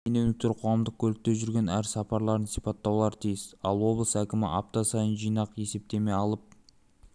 шенеуніктер қоғамдық көлікте жүрген әр сапарларын сипаттаулары тиіс ал облыс әкімі апта сайын жинақ есептеме алып